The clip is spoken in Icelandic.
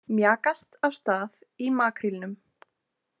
Mjakast af stað í makrílnum